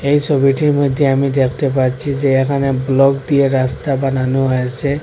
এই সবিটির মধ্যে আমি দেখতে পাচ্ছি যে এখানে ব্লক দিয়ে রাস্তা বানানো হয়েসে।